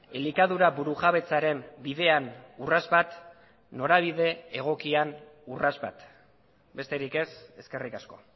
elikadura burujabetzaren bidean urrats bat norabide egokian urrats bat besterik ez eskerrik asko